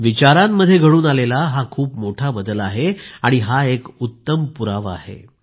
विचारांमध्ये घडून आलेला हा खूप मोठा बदल आहे आणि हा एक उत्तम पुरावा आहे